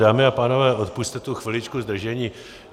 Dámy a pánové, odpusťte tu chviličku zdržení.